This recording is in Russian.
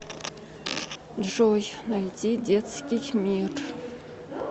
джой найди детский мир